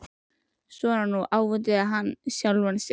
Svona nú, ávítaði hann sjálfan sig.